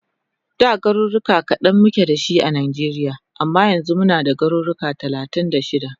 Da garuruka kadan muke dashi a Nijeria amma yanzu muna da garuka talatin da shida